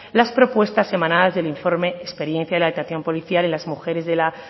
las propuestas emanadas del informe experiencia en la detención policial en las mujeres de la